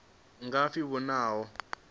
nga pfi ho vha na